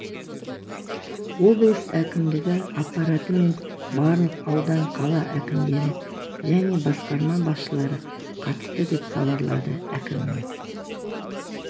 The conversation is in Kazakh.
облыс әкімдігі аппараты мен барлық аудан қала әкімдері және басқарма басшылары қатысты деп хабарлады әкімінің